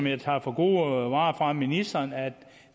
jeg tager for gode varer fra ministeren er at